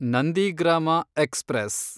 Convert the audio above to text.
Nandigram express